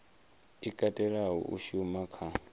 i katelaho u shuma kha